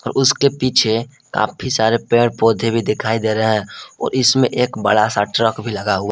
उसके पीछे काफी सारे पेड़ पौधे भी दिखाई दे रहे हैं और इसमें एक बड़ा सा ट्रक भी लगा हुआ--